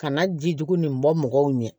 Ka na ji jugu nin bɔ mɔgɔw ɲɛ